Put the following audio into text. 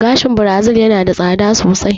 Gashin birazil yana da tsada sosai